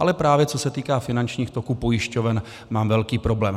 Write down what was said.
Ale právě co se týká finančních toků pojišťoven, mám velký problém.